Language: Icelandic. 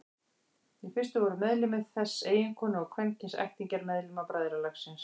Í fyrstu voru meðlimir þess eiginkonur og kvenkyns ættingjar meðlima bræðralagsins.